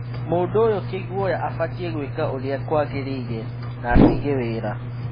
Mũndũ ũyũ kĩguoya afatiĩ gwĩka ũrĩa kwagĩrĩire na atige wĩra.'